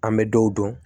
An bɛ dɔw dɔn